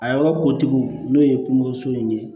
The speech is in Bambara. A yɔrɔ kotigiw n'o ye kungo so in ye